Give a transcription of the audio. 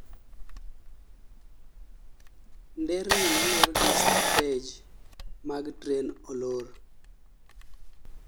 nderni nolor gi steg mag tren olor